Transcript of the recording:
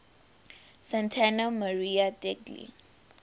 santa maria degli